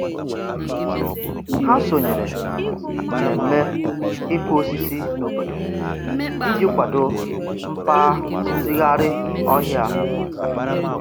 Ha sonyere mmemme ịkụ osisi n'obodo iji kwado mgbazigharị ọhịa.